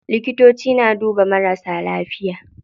Likitoci na duba marasa lafiya.